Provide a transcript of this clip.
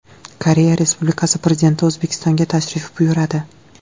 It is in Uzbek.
Koreya Respublikasi Prezidenti O‘zbekistonga tashrif buyuradi.